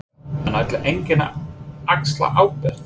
Helga: En ætlar enginn að axla ábyrgð?